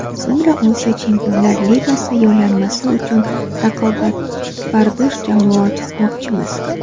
So‘ngra Osiyo Chempionlar Ligasi yo‘llanmasi uchun raqobatbardosh jamoa tuzmoqchimiz.